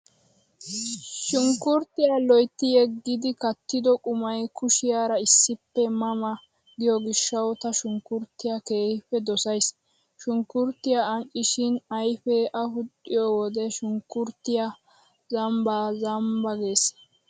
Shunkkurttiyaa loytti yeggidi kattido qumay kushiyaara issippe ma ma giyo gishshawu ta shunkkurttiyaa keehippe dosays. Shunkkurttiyaa anccishin ayfee afuxxiyo wode shunkkurttiyaa zambba zambba gees.